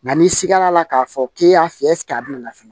Nka n'i sigara k'a fɔ k'i y'a fiyɛ a bɛna fili